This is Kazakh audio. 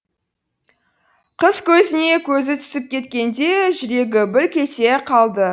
қыз көзіне көзі түсіп кеткенде жүрегі бүлк ете қалды